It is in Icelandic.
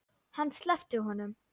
Hann sleppti honum!